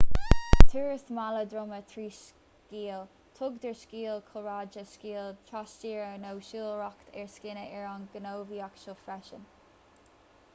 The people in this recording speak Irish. turas mála droma trí sciáil tugtar sciáil cúlráide sciáil trastíre nó siúlóireacht ar scíonna ar an ngníomhaíocht seo freisin